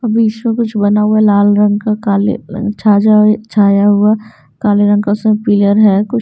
अब इसमें कुछ बना हुआ है लाल रंग का काले छाजा छाया हुआ काले रंग का उसमें पिलर है कु--